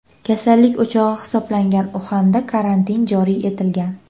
Kasallik o‘chog‘i hisoblangan Uxanda karantin joriy etilgan.